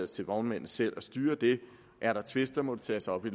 til vognmændene selv at styre det er der tvister må de tages op i